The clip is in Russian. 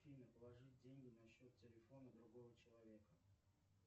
афина положить деньги на счет телефона другого человека